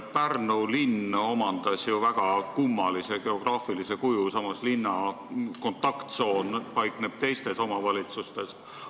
Pärnu linn omandas ju väga kummalise geograafilise kuju, linna kontakttsoon paikneb teistes omavalitsustes.